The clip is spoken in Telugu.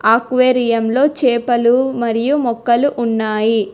అక్వేరియంలో చేపలు మరియు మొక్కలు ఉన్నాయి.